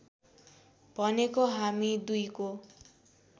भनेको हामी दुईको